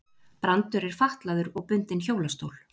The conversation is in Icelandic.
Brandur er fatlaður og bundinn hjólastól.